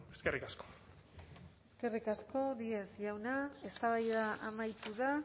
eskerrik asko eskerrik asko díez jauna eztabaida amaitu da